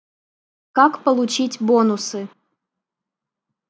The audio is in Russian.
как получить бонусы